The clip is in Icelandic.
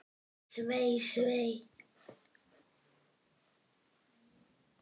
Svei, svei.